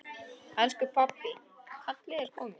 Elsku pabbi, kallið er komið.